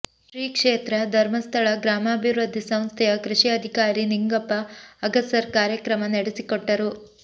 ಶ್ರೀ ಕ್ಷೇತ್ರಧರ್ಮಸ್ಥಳ ಗ್ರಾಮಾಭಿವೃದ್ಧಿ ಸಂಸ್ಥೆಯ ಕೃಷಿ ಅಧಿಕಾರಿ ನಿಂಗಪ್ಪ ಅಗಸರ್ ಕಾರ್ಯಕ್ರಮ ನಡೆಸಿಕೊಟ್ಟರು